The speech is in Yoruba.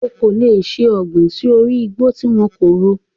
O kò lè ṣe ọ̀gbìn sí orí igbó tí wọn kò ro.